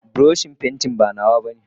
buroshin pantin ba nawa bane.